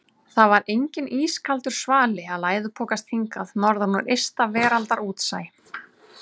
Það var enginn ískaldur svali að læðupokast hingað norðan úr ysta veraldar útsæ.